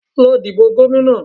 Lọ dìbò gómìnà